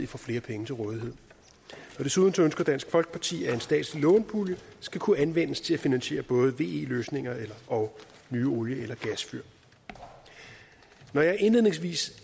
få flere penge til rådighed desuden ønsker dansk folkeparti at en statslig lånepulje skal kunne anvendes til at finansiere både ve løsninger og nye olie eller gasfyr når jeg indledningsvis